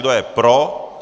Kdo je pro?